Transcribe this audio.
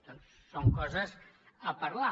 doncs són coses a parlar